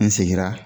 N seginna